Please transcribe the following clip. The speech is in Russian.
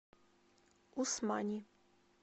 усмани